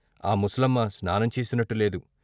ఆ ముసలమ్మ స్నానం చేసినట్టు లేదు.